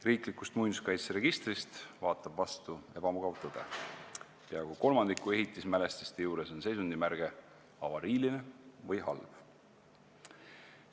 Riiklikust muinsuskaitseregistrist vaatab vastu ebamugav tõde: peaaegu kolmandiku ehitismälestiste juures on seisundimärge "avariiline" või "halb".